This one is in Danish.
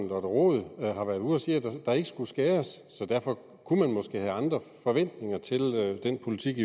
lotte rod har været ude at sige at der ikke skulle skæres så derfor kunne man måske have andre forventninger til den politik